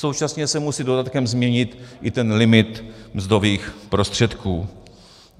Současně se musí dodatkem změnit i ten limit mzdových prostředků.